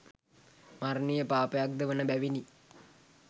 මරණීය පාපයක් ද වන බැවිණි.